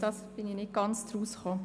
Das habe ich nicht ganz verstanden.